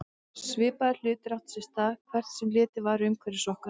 Svipaðir hlutir áttu sér stað hvert sem litið var umhverfis okkur.